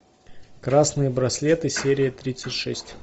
красные браслеты серия тридцать шесть